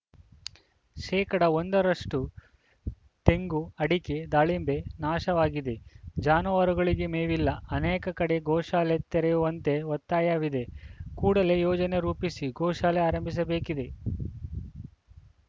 ಶೇಕಡಾ ಒಂದ ರಷ್ಟುತೆಂಗು ಅಡಕೆ ದಾಳಿಂಬೆ ನಾಶವಾಗಿದೆ ಜಾನುವಾರುಗಳಿಗೆ ಮೇವಿಲ್ಲ ಅನೇಕ ಕಡೆ ಗೋಶಾಲೆ ತೆರೆಯುವಂತೆ ಒತ್ತಾಯವಿದೆ ಕೂಡಲೇ ಯೋಜನೆ ರೂಪಿಸಿ ಗೋಶಾಲೆ ಆರಂಭಿಸಬೇಕಿದೆ